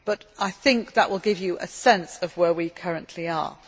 However, I think that will give you a sense of where we currently